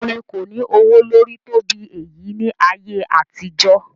Orin kò ní ọwọ́ lórí tó bí èyí ní ayé àtijó.